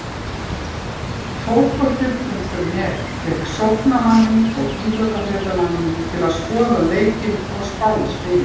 Fótbolti.net fékk sóknarmanninn og íþróttafréttamanninn til að skoða leikina og spá í spilin.